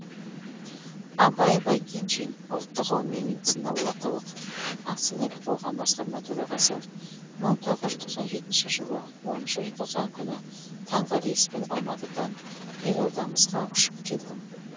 абай байгенжин ұлттық ғылыми медициналық орталық акционер қоғам басқарма төрағасы мың тоғыз жүз тоқан жетінші жылы оныншы желтоқсан күні таңғы рейспен алматыдан елордамызға ұшып келдім